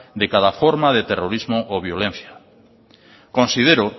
de cada forma de terrorismo o violencia considero